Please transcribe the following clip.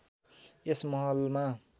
यस महलमा